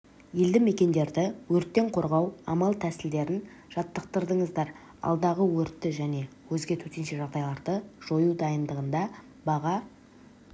елді мекендерді өрттен қорғау амал-тәсілдерін жаттықтырдыңыздар алдағы өртті және өзге төтенше жағдайларды жою дайындығында баға